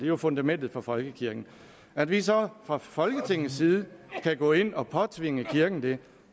jo fundamentet for folkekirken at vi så fra folketingets side kan gå ind at påtvinge kirken det